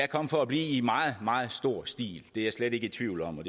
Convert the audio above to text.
kommet for at blive i meget meget stor stil det er jeg slet ikke i tvivl om og